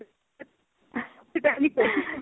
ਤੁਸੀਂ ਤਾਂ ਏਵੇਂ ਕਹਿੰਦੇ